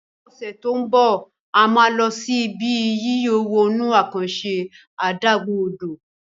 ní ose to ń bọ a má ló sì Ibi yíyọ̀ wọnú àkànṣe adágún-odò